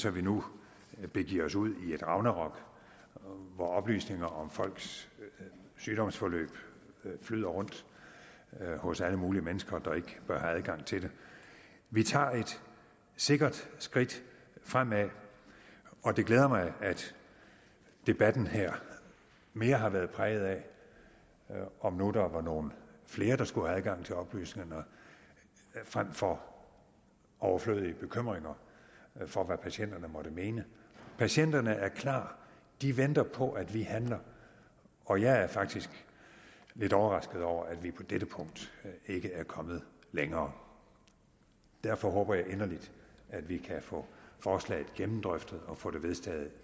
at vi nu begiver os ud i ragnarok hvor oplysninger om folks sygdomsforløb flyder rundt hos alle mulige mennesker der ikke bør have adgang til dem vi tager et sikkert skridt fremad og det glæder mig at debatten her mere har været præget af om nu der var nogle flere der skulle adgang til oplysningerne frem for overflødige bekymringer for hvad patienterne måtte mene patienterne er klar de venter på at vi handler og jeg er faktisk lidt overrasket over at vi på dette punkt ikke er kommet længere derfor håber jeg inderligt at vi kan få forslaget gennemdrøftet og få det vedtaget